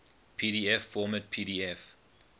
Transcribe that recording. pdf format pdf